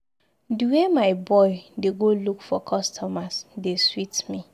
The way my boy dey go look for customers dey sweet me.